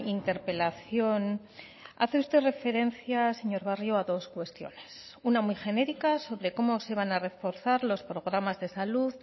interpelación hace usted referencia señor barrio a dos cuestiones una muy genérica sobre cómo se van a reforzar los programas de salud